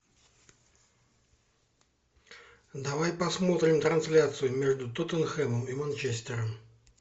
давай посмотрим трансляцию между тоттенхэмом и манчестером